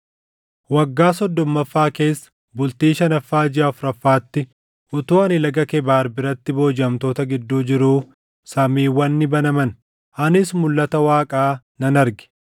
Waggaa soddommaffaa keessa, bultii shanaffaa jiʼa afuraffaatti utuu ani Laga Kebaar biratti boojiʼamtoota gidduu jiruu samiiwwan ni banaman; anis mulʼata Waaqaa nan arge.